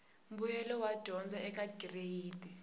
mbuyelo wa dyondzo eka gireyidi